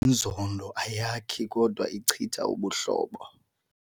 Inzondo ayakhi kodwa ichitha ubuhlobo.